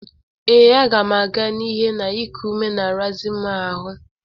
Ee, aga m aga n'ihe na iku ume na-arazị m ahụ